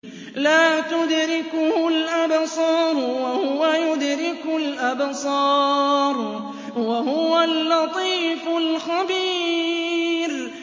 لَّا تُدْرِكُهُ الْأَبْصَارُ وَهُوَ يُدْرِكُ الْأَبْصَارَ ۖ وَهُوَ اللَّطِيفُ الْخَبِيرُ